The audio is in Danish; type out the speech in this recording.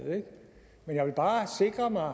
men jeg vil bare sikre mig at